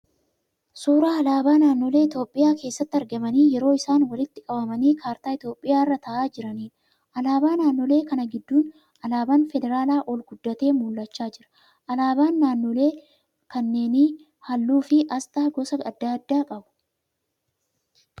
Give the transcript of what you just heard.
Suuraa alaabaa naannoolee Itiyoopiyaa keessatti argamanii yeroo isaan walitti qabamanii kaartaa Itiyoopiyaa irra ta'aa jiraniidha. Alaabaa naannoolee kana gidduun alaabaan feraalaa ol guddatee mul'achaa jira. Alaabaan naannoolee kunneen halluu fi asxaa gosa adda addaa qabu.